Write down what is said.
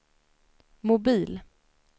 mobil